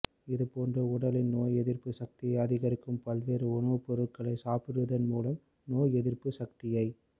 இதுபோன்று உடலின் நோய் எதிர்ப்பு சக்தியை அதிகரிக்கும் பல்வேறு உணவுப்பொருட்களை சாப்பிடுவதன் மூலம் நோய் எதிர்ப்பு சக்தியை